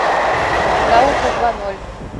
наука два ноль